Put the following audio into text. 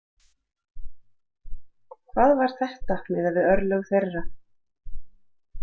Hvað var þetta miðað við örlög þeirra?